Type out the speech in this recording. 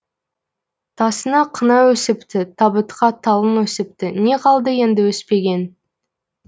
тасыңа қына өсіпті табытқа талың өсіпті не қалды енді өспеген